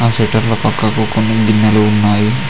ఆ షట్టర్ పక్కకు కొన్ని గిన్నెలు ఉన్నాయి.